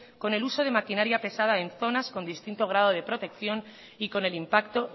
con el uso de maquinaria pesada en zonas con distinto grado de protección y con el impacto